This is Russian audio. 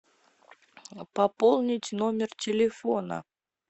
пополнить номер телефона